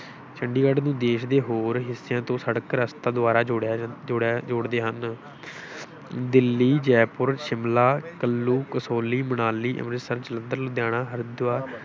ਚੰਡੀਗੜ੍ਹ ਨੂੰ ਦੇਸ਼ ਦੇ ਹੋਰ ਹਿੱਸਿਆਂ ਤੋਂ ਸੜਕ ਰਸਤਾ ਦੁਆਰਾ ਜੋੜਿਆ ਜਾਂ ਜੋੜਿਆ ਜੋੜਦੇ ਹਨ ਦਿੱਲੀ, ਜੈਪੁਰ, ਸ਼ਿਮਲਾ, ਕੁੱਲੂ, ਕਸੌਲੀ, ਮਨਾਲੀ, ਅੰਮ੍ਰਿਤਸਰ, ਜਲੰਧਰ, ਲੁਧਿਆਣਾ, ਹਰਿਦੁਆਰ,